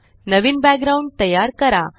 नवीन background तयार करा